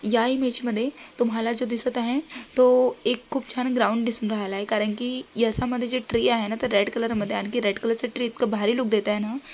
या इमेज मध्ये तुम्हाला जो दिसत आहे तो एक खूप छान ग्राऊंड दिसून राहिला आहे कारण की यसामध्ये जो ट्री आहे ना तो रेड कलर मध्ये आणखी रेड कलर चे ट्री इतकं भारी लुक देतय ना.